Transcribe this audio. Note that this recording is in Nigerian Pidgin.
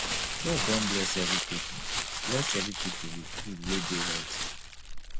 god don bless every people bless every people with food wey dey healthy